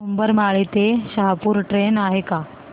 उंबरमाळी ते शहापूर ट्रेन आहे का